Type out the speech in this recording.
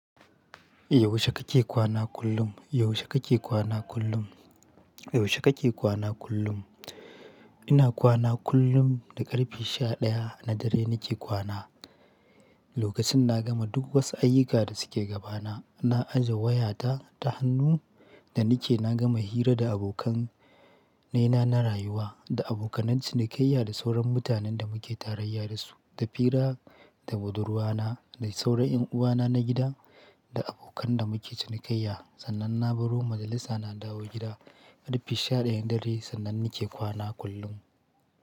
Yaushe kake kwana kullum? Yaushe kake kwana kullum? Yaushe kake kwana kullum? Ina kwana kullum da ƙarfe sha ɗaya na dare nake kwana. Lokacin na gama duk wasu ayyuka da suke gabana, na aje wayata ta hannu da nake na gama hira da abokan nay na na rayuwa, da abokanan cinikayya da sauran mutanen da muke tarayya da su, da fira da budurwa na, da sauran ƴan uwa na na gida, da abokan da muke cinikayya. Sannan na baro majalisa na dawo gida. Ƙarfe sha ɗaya na dare sannan nake kwana kullum.